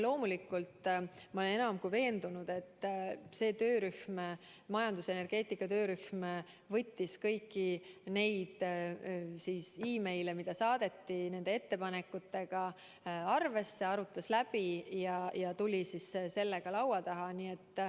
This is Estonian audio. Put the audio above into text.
Ma olen enam kui veendunud, et see töörühm, majandusenergeetika töörühm võttis kõiki neile saadetud e-kirju, neid ettepanekuid arvesse, arutas need läbi ja tuli lõpuks nendega laua taha.